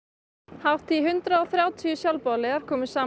hátt í hundrað og þrjátíu sjálfboðaliðar komu saman